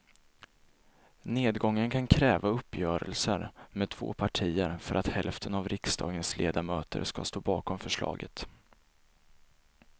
Nedgången kan kräva uppgörelser med två partier för att hälften av riksdagens ledamöter ska stå bakom förslaget.